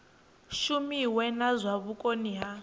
shumiwe na zwa vhukoni ha